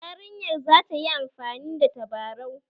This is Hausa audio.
Yarinyar za ta yi amfani da tabarau